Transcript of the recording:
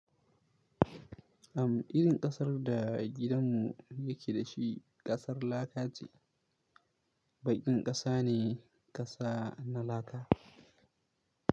Am, irin ƙasar da gidanmu yake dashi ƙasar laka ce. Baƙin ƙasa ne kasa na laka.